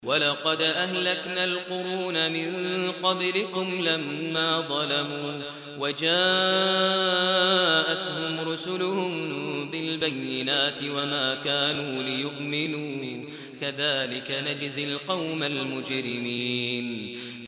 وَلَقَدْ أَهْلَكْنَا الْقُرُونَ مِن قَبْلِكُمْ لَمَّا ظَلَمُوا ۙ وَجَاءَتْهُمْ رُسُلُهُم بِالْبَيِّنَاتِ وَمَا كَانُوا لِيُؤْمِنُوا ۚ كَذَٰلِكَ نَجْزِي الْقَوْمَ الْمُجْرِمِينَ